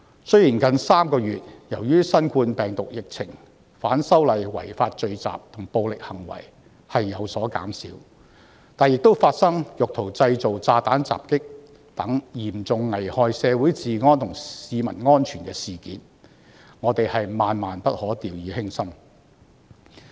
雖然由於新冠病毒的疫情，近3個月的反修例違法聚集和暴力行為已有所減少，但亦發生意圖製造炸彈襲擊等嚴重危害社會治安和市民安全的事件，我們萬萬不可掉以輕心。